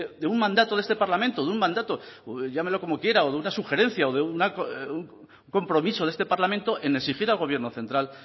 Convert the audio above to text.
de un mandato de este parlamento de un mandato llámelo como quiera o de una sugerencia o de un compromiso de este parlamento en exigir al gobierno central